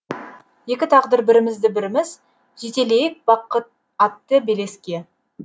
екі тағдыр бірімізді біріміз жетелейік бақыт атты белеске